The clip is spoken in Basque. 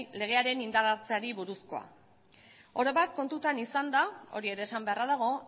legearen indar hartzeari buruzkoa oro bat kontuan izanda hori ere esan beharra dago